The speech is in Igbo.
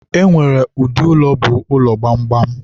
e nwere ụdị ụlọ bụ ụlọ gbamgbam.